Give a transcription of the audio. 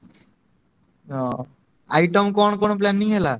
ହଁ item କଣ କଣ planning ହେଲା?